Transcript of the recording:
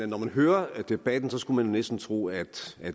når man hører debatten skulle man næsten tro at